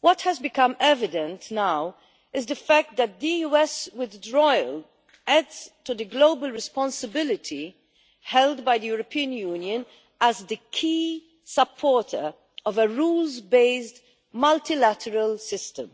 what has become evident now is the fact that the US withdrawal adds to the global responsibility held by the European Union as the key supporter of a rules based multilateral system.